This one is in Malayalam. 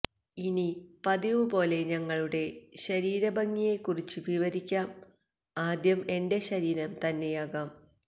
ഇനി പതിവ് പോലെ ഞങ്ങളുടെ ശരിര ഭംഗിയെ കുറിച്ച് വിവരിക്കാം ആദ്യം എന്റെ ശരിരം തന്നെയാകാം